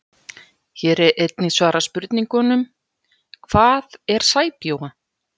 Hér er einnig svarað spurningunum: Hvað er sæbjúga?